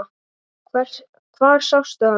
Hvar sástu hann?